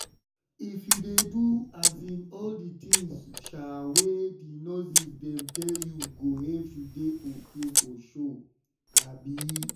if you dey do um all di tins um wey di nurses dem tell you go help u dey ok for sure um